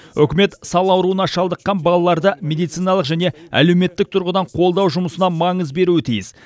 үкімет сал ауруына шалдыққан балаларды медициналық және әлеуметтік тұрғыдан қолдау жұмысына маңыз беруі тиіс